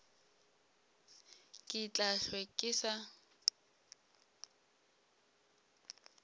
ke tla hlwe ke sa